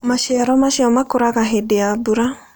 Maciaro macio makũraga hĩndĩ ya mbura.